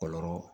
Kɔlɔlɔ